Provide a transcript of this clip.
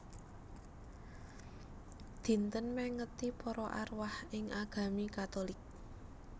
Dinten mèngeti para arwah ing agami Katulik